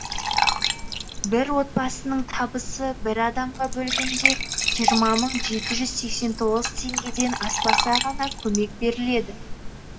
бір отбасының табысы бір адамға бөлгенде жиырма мың жеті жүз сексен тоғыз теңгеден аспаса ғана көмек беріледі